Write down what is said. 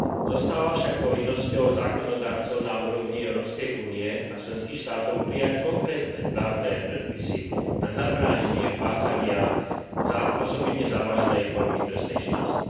Zostáva však povinnosťou zákonodarcov na úrovni Európskej únie a členských štátov prijať konkrétne právne predpisy na zabránenie páchania osobitne závažnej formy trestnej činnosti.